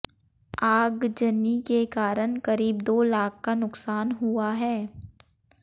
आगजनी के कारण करीब दो लाख का नुकसान हुआ है